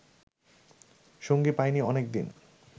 সঙ্গী পায়নি অনেকদিন